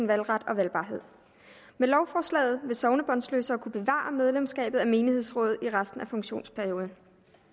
valgret og valgbarhed med lovforslaget vil sognebåndsløsere kunne bevare medlemskabet af menighedsrådet i resten af funktionsperioden